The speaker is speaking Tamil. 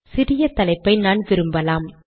சிறிய தலைப்பை நான் விரும்பலாம்